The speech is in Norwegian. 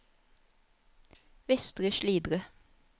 Vestre Slidre